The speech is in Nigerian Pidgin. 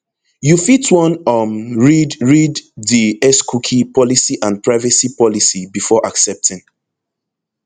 you fit wan um read read di xcookie policyandprivacy policybefore accepting